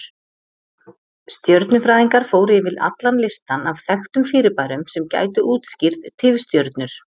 Stjörnufræðingar fóru yfir allan listann af þekktum fyrirbærum sem gætu útskýrt tifstjörnur.